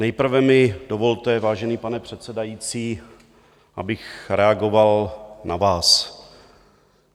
Nejprve mi dovolte, vážený pane předsedající, abych reagoval na vás.